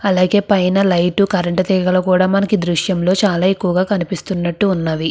అలగేయ్ మనకు ఇక్కడ కనిపెస్తునది. లైన్ జనాలు మనకు ఇక్కడ ద్రుశము లో మనకు కనిపెస్తునది ఇక్కడ.